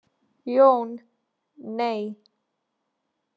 Jón: Nei.